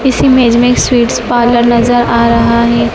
इस इमेज मे एक स्वीट्स पार्लर नजर आ रहा है।